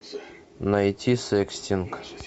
найти секстинг